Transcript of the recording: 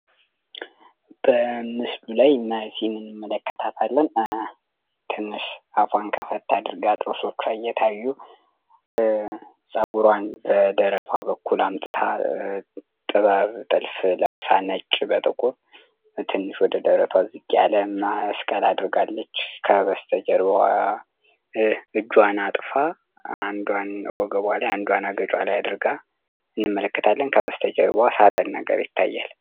በምስሉ ላይ ናዚ እንመለከታለን ናዚነሽ አፉዋን ከፈት አድርጋ ጥርሶች እየታዩ ጸጉራን በደረቱዋና በኩላሊቱንብጥበቃ ልብስ ለብሳ ነጭ በጥቁር ትንሽ ወረድ አድርጋ ከበስተጀርባዋ አጠፋ አንዱን ወገቧ ላይ አድርጋ እንመለከታለን ከመስተጀርባ ሳጥን ነገር ይታያል።